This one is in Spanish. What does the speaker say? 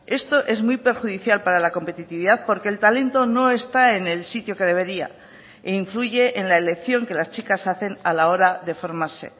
esto es muy perjudicial para la competitividad porque el talento no está en el sitio que debería e influye en la elección que las chicas hacen a la hora de formarse